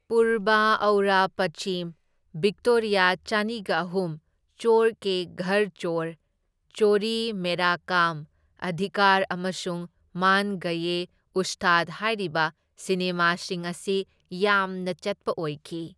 ꯄꯨꯔꯕ aur Paschim, Victoria ꯆꯅꯤꯒ ꯑꯍꯨꯝ, ꯆꯣꯔ ꯀꯦ ꯘꯔ ꯆꯣꯔ, ꯆꯣꯔꯤ ꯃꯦꯔꯥ ꯀꯥꯝ, ꯑꯙꯤꯀꯥꯔ ꯑꯃꯁꯨꯡ ꯃꯥꯟ ꯒꯌꯦ ꯎꯁꯇꯥꯗ ꯍꯥꯢꯔꯤꯕ ꯁꯤꯅꯦꯃꯥꯁꯤꯡ ꯑꯁꯤ ꯌꯥꯝꯅ ꯆꯠꯄ ꯑꯣꯏꯈꯤ꯫